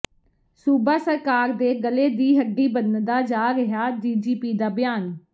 ਸੂਬਾ ਸਰਕਾਰ ਦੇ ਗਲੇ ਦੀ ਹੱਡੀ ਬਣਦਾ ਜਾ ਰਿਹੈ ਡੀਜੀਪੀ ਦਾ ਬਿਆਨ